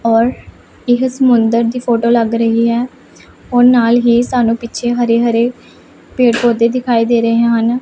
ਔਰ ਇਹ ਸਮੁੰਦਰ ਦੀ ਫੋਟੋ ਲੱਗ ਰਹੀ ਹੈ ਔਰ ਨਾਲ ਹੀ ਸਾਨੂੰ ਪਿੱਛੇ ਹਰੇ ਹਰੇ ਪੇੜ ਪੌਦੇ ਦਿਖਾਏ ਦੇ ਰਹੇ ਹਨ।